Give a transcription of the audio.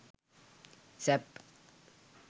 sap